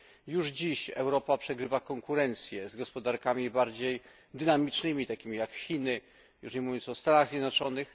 Już dziś Europa przegrywa konkurencję z gospodarkami bardziej dynamicznymi, takimi jak Chiny, już nie mówiąc o Stanach Zjednoczonych.